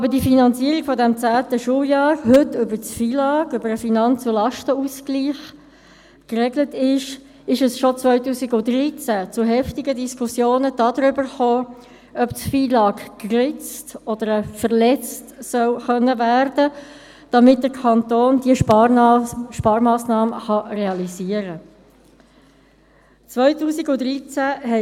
Weil aber die Finanzierung des zehnten Schuljahrs heute über das FILAG geregelt ist, kam es bereits 2013 zu heftigen Diskussionen darüber, ob das FILAG geritzt oder verletzt werden können soll, damit der Kanton diese Sparmassnahme realisieren kann.